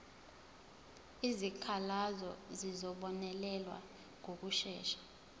izikhalazo zizobonelelwa ngokushesha